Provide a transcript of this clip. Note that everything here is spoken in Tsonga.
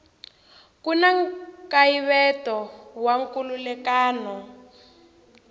ku na nkayivelo wa nkhulukelano